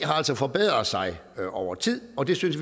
har altså forbedret sig over tid og det synes